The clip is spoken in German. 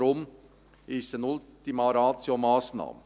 Deshalb ist es eine Ultima-Ratio-Massnahme.